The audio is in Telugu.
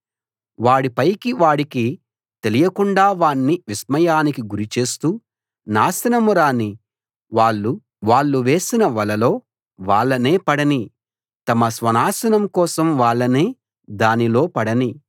వాడి పైకి వాడికి తెలియకుండా వాణ్ణి విస్మయానికి గురి చేస్తూ నాశనం రానీ వాళ్ళు వేసిన వలలో వాళ్ళనే పడనీ తమ స్వనాశనం కోసం వాళ్ళనే దానిలో పడనీ